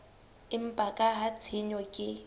empa ka ha tshenyo ke